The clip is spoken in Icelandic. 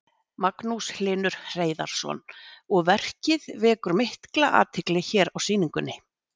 Magnús Hlynur Hreiðarsson: Og verkið vekur mikla athygli hér á sýningunni?